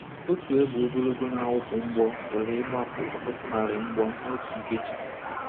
Otu égbè ogologo na-awụpụ mgbọ pụrụ ịgbapụ ọtụtụ narị mgbọ n’otu nkeji.